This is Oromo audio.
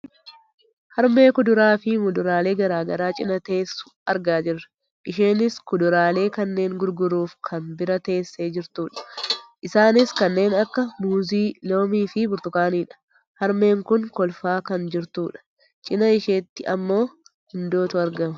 Harmee kuduraaf muduraalee gara garaa cinaa teessu argaa jirra. Isheenis kuduraalee kanneen gurguruuf kan bira teessee jirtudha. Isaanis kanneen akka muuzii, loomiifi burtukaaniidha. Harmeen kun kolfaa kan jirtudha. Cinaa isheetti ammoo gundootu argama.